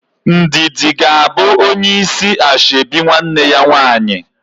Ndidi ga abụ onye isi ashebi nwanne ya nwaanyị